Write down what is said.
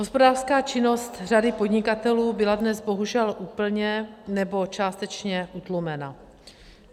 Hospodářská činnost řady podnikatelů byla dnes bohužel úplně nebo částečně utlumena.